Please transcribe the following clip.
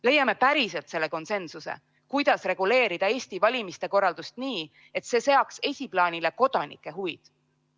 Leiame päriselt selle konsensuse, kuidas reguleerida Eesti valimiste korraldust nii, et see seaks esiplaanile kodanike huvid!